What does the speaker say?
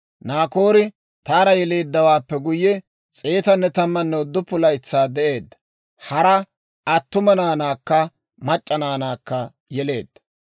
Naakoori Taara yeleeddawaappe guyye, 119 laytsaa de'eedda; hara attuma naanaakka mac'c'a naanaakka yeleedda.